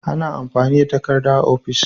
Ana amfani da takarda a ofis.